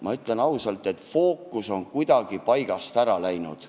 Ma ütlen ausalt, et fookus on kuidagi paigast ära läinud.